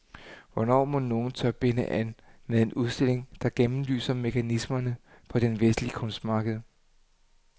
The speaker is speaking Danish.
Hvornår mon nogen tør binde an med en udstilling, der gennemlyser mekanismerne på det vestlige kunstmarked.